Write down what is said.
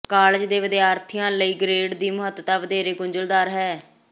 college ਦੇ ਵਿਦਿਆਰਥੀਆਂ ਲਈ ਗ੍ਰੇਡ ਦੀ ਮਹੱਤਤਾ ਵਧੇਰੇ ਗੁੰਝਲਦਾਰ ਹੈ